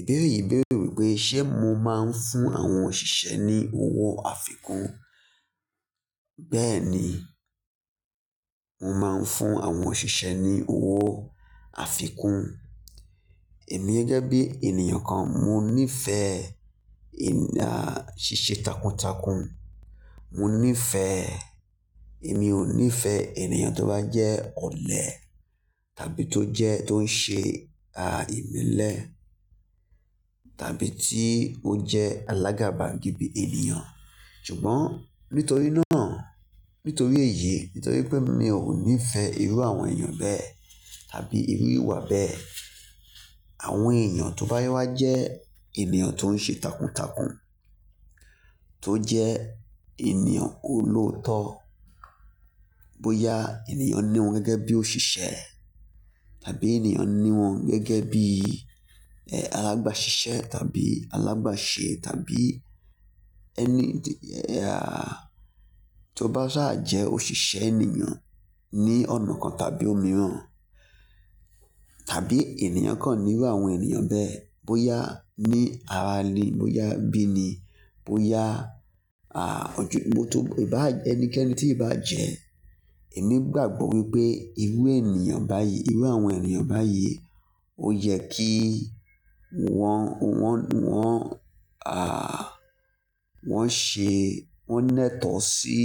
Ìbéèrè yìí béèrè wípé, ṣe mo máa ń fún àwọn òṣìṣẹ́ ní owó àfikún? Bẹ́ẹ̀ni, mo máa ń fún àwọn òṣìṣẹ́ ní owó àfikún. Èmi gẹ́gẹ́ bí ènìyàn kan, mo nìfeẹ̀ èyán ṣíṣe takuntakun. Mo nìfẹ̀-- èmi ò nìfẹ̀ ènìyàn tó bá jẹ́ ọ̀lẹ tàbí tó jẹ́ tó ń ṣe a ìmelẹ tàbí tí ó jẹ alágàbàgebè ènìyàn. Ṣùgbọ́n nítorí náà, nítorí èyí, nítorí pé mi ò nífẹ̀ irú àwọn ènìyàn bẹ́ẹ̀ tàbí irú ìwà bẹ́ẹ̀. Àwọn ènìyàn tó bá wá jẹ́ ènìyàn tó ń ṣe takuntakun, tó jẹ́ ènìyàn olóòótọ́, bóyá ènìyàn ní wọ́n gẹ́gẹ́ bí òṣìṣẹ́ tàbí ènìyàn ní wọ́n gẹ́gẹ́ bí, eh alábasísẹ́ tàbí alábàṣe tàbí ẹni ti, eh a tó bá sáà jẹ́ òṣìṣẹ́ ènìyàn ní ọ̀nà kan tàbí òmíràn, tàbí ènìyàn kan ní irú àwọn ènìyàn bẹ́ẹ̀, bóyá ní arani, bóyá bíni, bóyá a, ìbá ẹnikẹ́ẹ́nì tiìbá jẹ́, èmi gbàgbọ́ wípé irú ènìyàn báyìí, irú àwọn ènìyàn báyìí ó yẹ kí wọ́n, wọ́n, wọ́n a wọ́n ṣe, wọ́n nẹ́tọ̀ ọ́ sí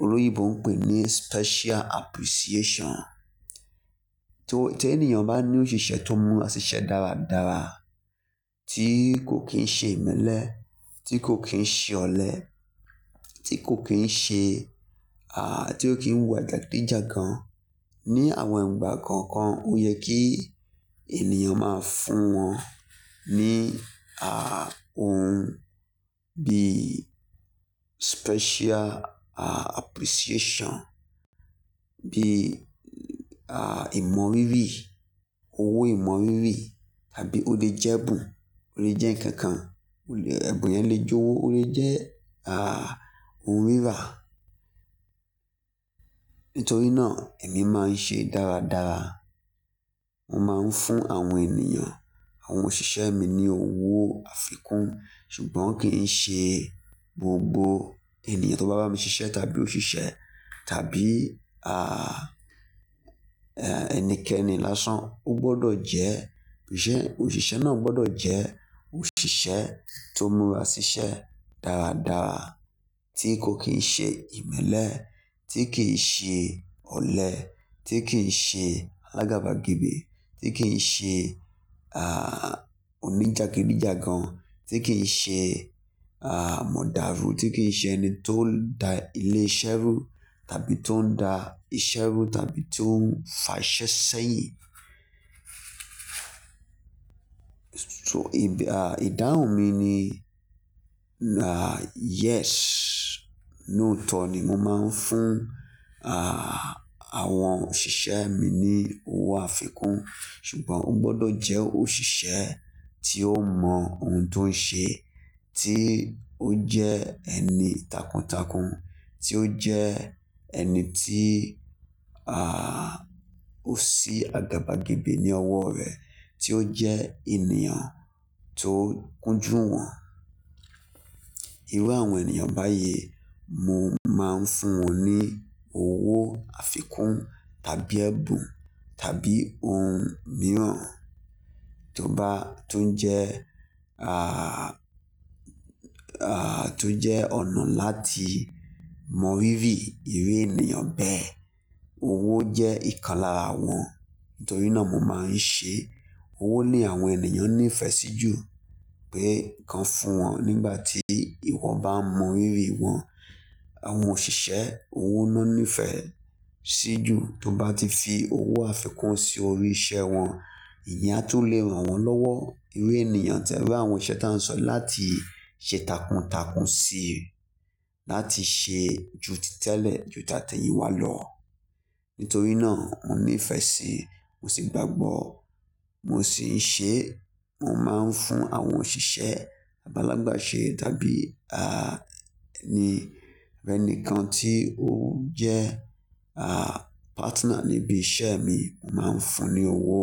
olòyinbo ń pè ní special appreciation. Tí ó, tí ènìyàn bá ní òṣìṣẹ́ tó múra ṣiṣẹ́ dáradára tí kò kín ń ṣe ìmẹ́lẹ́, tí kò kín ń ṣe ọ̀lẹ, tí kò kín ń ṣe a tí ó kín ń wùwà jàgídíjàgan ní àwọn ìgbà kọ̀ọ̀kan, ó yẹ kí ènìyàn máa fún wọn ní a ohun bí special appreciation, bí a ìmọ̀rírí, owó ìmọ̀rírí tàbí ó lè jẹ́ ẹ̀bùn, ó lè jẹ́ ǹkan kan, ó lè, ẹ̀bùn yẹn lè jọwọ́, ó lè jẹ́ a ohun rírà. Nítorí náà èmi máa ń ṣe dáradára. Mo máa ń fún àwọn ènìyàn, àwọn òṣìṣẹ́ mi ní owó àfikún. Ṣùgbọ́n kìi ṣe gbogbo ènìyàn tó bá bámi ṣiṣẹ́ tàbí òṣìṣẹ́ tàbí a eh ẹnikẹ́ni lásán ó gbọdọ̀ jẹ́, òṣìṣẹ́ náà gbọdọ̀ jẹ́ òṣìṣẹ́ tó múra ṣiṣẹ́ dáradára tí kò kín ń ṣe ìmẹ́lẹ́, tí kìi ṣe ọ̀lẹ, tí kìí ṣe alábàgebè, tí kìí ṣe a oníjàgídíjàgan, tí kìí ṣe a mọ̀dàrú, tí kìí ṣe ẹni tó da ilé iṣẹ́ rú tàbí tó ń da iṣẹ́ rú tàbí tó ń fàṣẹ sẹ́yìn. So a ìdáhùn mi ni a yes, ní òótọ́ ni mo máa ń fún a àwọn òṣìṣẹ́ mi ní owó àfikún. Ṣùgbọ́n ó gbọdọ̀ jẹ́ òṣìṣẹ́ tí ó mọ ohun tó ń ṣe, tí ó jẹ́ ẹni takuntakun, tí ó jẹ́ ẹni tí a ó sì àgàbàgebè ní ọwọ́ rẹ̀, tí ó jẹ́ ènìyàn tó ń kúnjú wọ́n. Irú àwọn ènìyàn báyìí mo máa ń fún wọn ní owó àfikún tàbí ẹ̀bùn tàbí ohun mìíràn tó bá, tó ńjẹ́ a a tó jẹ́ ọ̀nà láti mọ̀rírí irú ènìyàn bẹ́ẹ̀. Owó jẹ́ ìkan lára wọn. Nítorí náà mo máa ń ṣe, owó ni àwọn ènìyàn ní ìfẹ́ sí jù pé kọ́ fún wọn nígbà tí ìwọ bá mọ̀rírí wọn. Àwọn òṣìṣẹ́ owó ná ní ìfẹ́ sí jù tó bá ti fi owó àfikún sí orí iṣẹ́ wọn. Ìyẹn á tún lè rànwọ́ lọ́wọ́. Irú ènìyàn, irú àwọn òṣìṣẹ́ tí a ń sọ láti ṣe takuntakun síi, láti ṣe ju títẹ́lẹ̀ ju tateyin wá lọ. Nítorí náà mo ní ìfẹ́ síi, mo sì gbàgbọ́, mo sì ń ṣe, mo máa ń fún àwọn òṣìṣẹ́ abi alábàṣe tàbí a ẹni, ẹni kan tí ó jẹ́ a partner níbi iṣẹ́ mi, mo máa ń fún un ní owó.